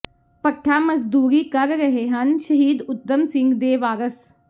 ਭੱਠਾ ਮਜ਼ਦੂਰੀ ਕਰ ਰਹੇ ਹਨ ਸ਼ਹੀਦ ਊਧਮ ਸਿੰਘ ਦੇ ਵਾਰਸ